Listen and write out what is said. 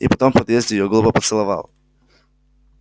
и потом в подъезде её глупо поцеловал